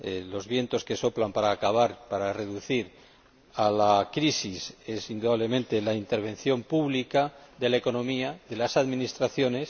Los vientos que soplan para acabar, para reducir la crisis apuntan indudablemente a la intervención pública de la economía, de las administraciones